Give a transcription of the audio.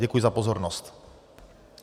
Děkuji za pozornost.